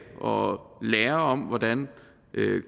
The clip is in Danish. og lære om hvordan